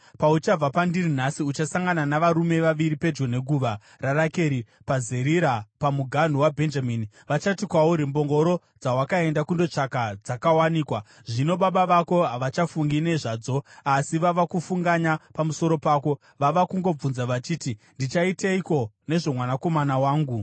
Pauchabva pandiri nhasi, uchasangana navarume vaviri pedyo neguva raRakeri, paZeriza pamuganhu waBhenjamini. Vachati kwauri, ‘Mbongoro dzawakaenda kundotsvaga dzakawanikwa. Zvino baba vako havachafungi nezvadzo asi vava kufunganya pamusoro pako. Vava kungobvunza vachiti, “Ndichaiteiko nezvomwanakomana wangu?” ’